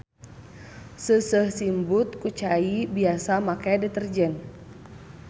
Seuseuh simbut ku cai biasa make deterjen.